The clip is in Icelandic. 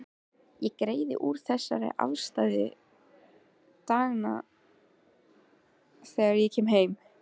Ég greiði úr þessu afstæði daganna þegar ég kem heim.